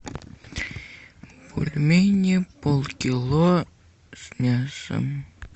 бульмени полкило с мясом